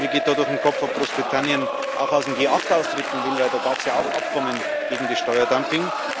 Mir geht da durch den Kopf, ob Großbritannien auch aus dem G8 austreten will, denn da gab es ja auch Abkommen gegen das Steuerdumping.